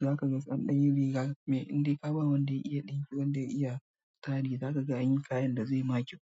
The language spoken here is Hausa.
za ka ga tsandarin riga mai indai kaba wanda ya iya ɗinki wanda ya iya tsari za ka ga an yi kayan da zai ma kyau.